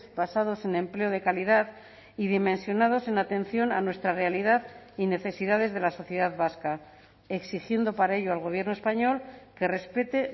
basados en empleo de calidad y dimensionados en atención a nuestra realidad y necesidades de la sociedad vasca exigiendo para ello al gobierno español que respete